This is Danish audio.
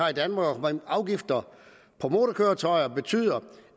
afgifter på motorkøretøjer betyder